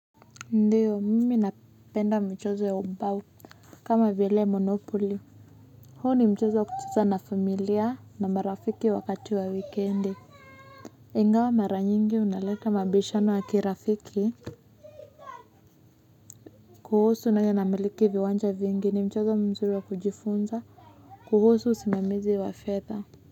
Ndiyo mimi napenda mchezo ya umbau kama vile monopoly. Huo ni mchezo wa kucheza na familia na marafiki wakati wa wikendi ingawa maranyingi unaleta mabishano ya kirafiki. Kuhusu nani anamiliki viwanja vingi ni mchezo mzuri wa kujifunza. Kuhusu simamizi wa fedha.